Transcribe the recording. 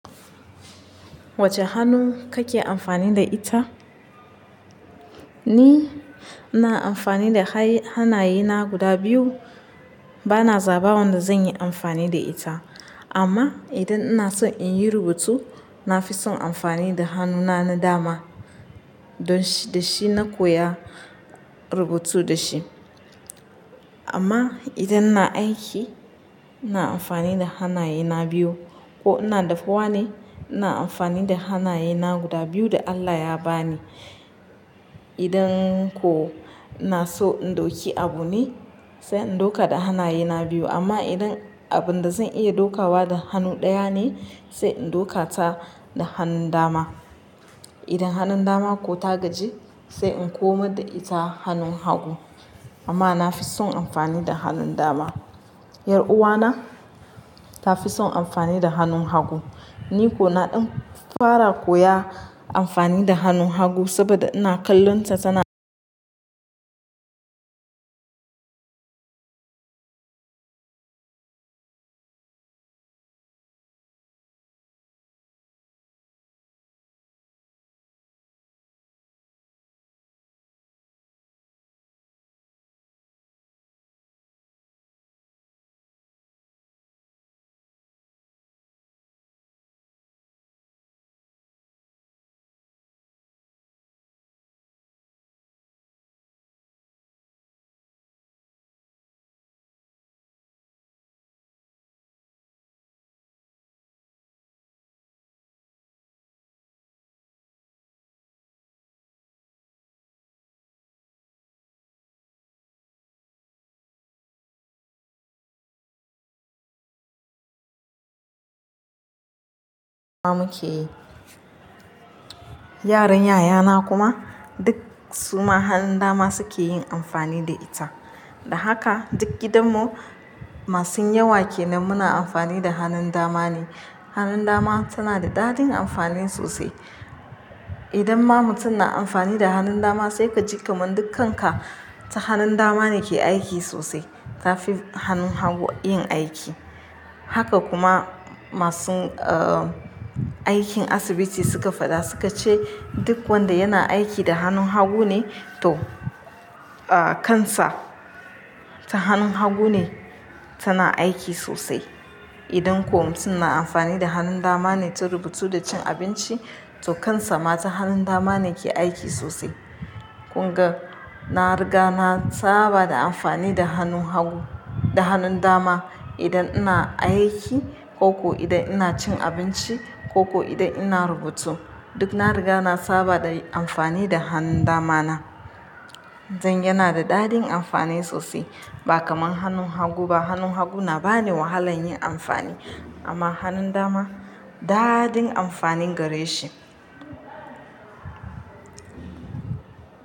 Wacce hannu kake amfani da ita? Ni ina amfani da hanaye na guda biyu. Bana zaba wanda zan yi amfani da ita. Amma idan ina so in yi rubutu, na fi son amfani da hannuna na dama. Don da shi na koya rubutu da shi. Amma idan na aiki, ina amfani da hanaye na biyu. Ko ina dafawa ne, ina amfani da hanaye na guda biyu da Allah ya ba ni. Idan ko ina so in ɗauki abu ne, sai in ɗauka da hanaye na biyu. Amma idan abun da zan iya ɗaukawa da hannu ɗaya ne, sai in ɗauka ta da hannun dama. Idan hanun dama ko ta gaji, sai in koma da ita hanun hagu amma na fi son amfani da hannun dama. Yar uwana ta fi son amfani da hannun hagu. Ni ko na ɗan fara koya amfani da hannun hagu saboda ina kallonta tana muke yi. Yaran yayana kuma duk suma hannun dama suke yin amfani da ita. Da haka duk gidanmu masu yawa ke nan muna amfani da hannun dama ne. Hannun dama tana da dadin amfani sosai. Idan ma mutum na amfani da hannun dama, sai ka ji kaman dukkan ka, ta hannun dama ne ke aiki sosai, ta fi hannun hagu yin aiki. Haka kuma masu, ah, aikin asibiti suka faɗa, suka ce duk wanda yana aiki da hannun hagu ne to, ah, kansa ta hannun hagu ne tana aiki sosai. Idan kuma mutum na amfani da hannun dama ne ta rubutu da cin abinci, to kansa ma ta hannun dama ne ke aiki sosai. Kun ga, na riga na saba da amfani da hannu hagu-- da hannun dama. Idan ina aiki ko ko idan ina cin abinci ko ku idan ina rubutu, duk na riga na saba da amfani da hannun dama na. Zan yana da dadin amfani sosai ba kamar hannun hagu ba. Hannun hagu na ba ni wahala yin amfani. Amma hannun dama, dadin amfanin gare shi.